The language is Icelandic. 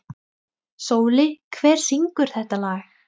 Sóli, hver syngur þetta lag?